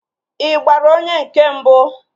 Ị gbara onye nke mbụ?